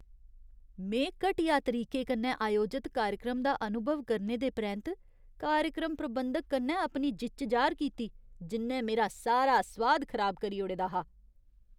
में घटिया तरीके कन्नै आयोजत कार्यक्रम दा अनुभव करने दे परैंत्त कार्यक्रम प्रबंधक कन्नै अपनी जिच्च जाह्‌र कीती जि'न्नै मेरा सारा सोआद खराब करी ओड़े दा हा ।